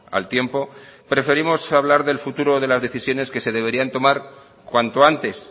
al tiempo preferimos hablar del futuro de las decisiones que se deberían tomar cuanto antes